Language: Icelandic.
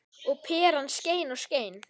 Og peran skein og skein.